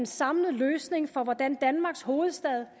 samlede løsning for hvordan danmarks hovedstad